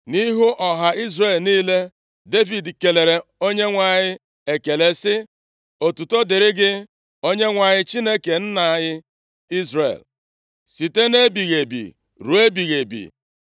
Nʼihu ọha Izrel niile, Devid kelere Onyenwe anyị ekele sị, “Otuto dịrị gị Onyenwe anyị Chineke nna anyị Izrel site nʼebighị ebi ruo ebighị ebi.